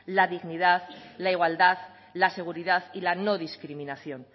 la dignidad la igualdad la seguridad y la no discriminación